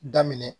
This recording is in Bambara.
Daminɛ